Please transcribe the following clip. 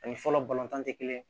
Ani fɔlɔ balontan tɛ kelen ye